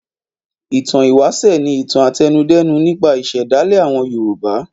Ìtàn ìwáṣẹ̀ ni ìtàn àtẹnudẹ́nu nípa ìṣẹ̀dálẹ̀ àwọn Yorùbá.